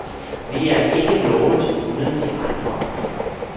Vi er ikke noget uden de andre.